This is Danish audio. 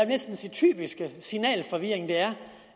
næsten sige typiske signalforvirring der er